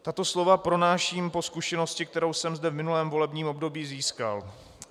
Tato slova pronáším po zkušenosti, kterou jsem zde v minulém volebním období získal.